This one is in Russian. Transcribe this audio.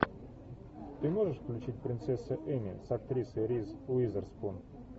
ты можешь включить принцесса эмми с актрисой риз уизерспун